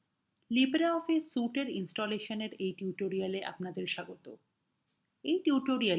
নমস্কার libreoffice suite এর installation এর এই tutorialএ স্বাগত